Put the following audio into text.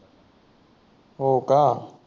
हो का